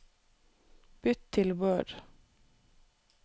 Bytt til Word